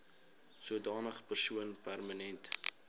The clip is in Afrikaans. sodanige persoon permanent